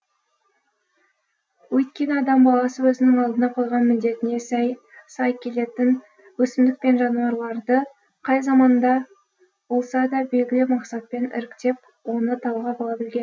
өйткені адам баласы өзінің алдына қойған міндетіне сай келетін өсімдік пен жануарларды қай заманда болса да белгілі мақсатпен іріктеп оны талғап ала білген